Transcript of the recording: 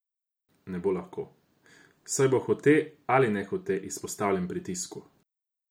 Ne bo lahko, saj bo hote ali nehote izpostavljen pritisku.